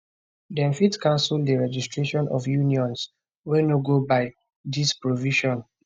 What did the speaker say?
dem fit cancel di registration of unions wey no go by dis provision